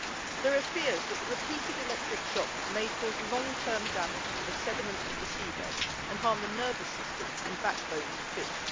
There are fears that the repeated electric shocks may cause long term damage to the sediments of the seabed and harm the nervous systems and backbones of fish.